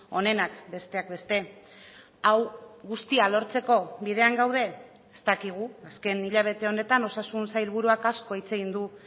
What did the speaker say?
honenak besteak beste hau guztia lortzeko bidean gaude ez dakigu azken hilabete honetan osasun sailburuak asko hitz egin du